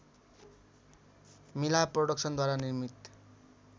मिला प्रोडक्सनद्वारा निर्मित